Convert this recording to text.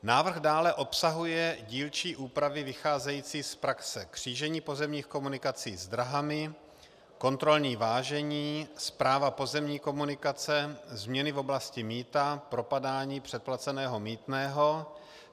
Návrh dále obsahuje dílčí úpravy vycházející z praxe: křížení pozemních komunikací s dráhami, kontrolní vážení, správa pozemní komunikace, změny v oblasti mýta, propadání předplaceného mýtného.